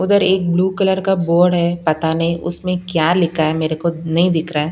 उधर एक blue colour का बोर्ड है पता नहीं उसमें क्या लिखा है मेरे को नहीं दिख रहा।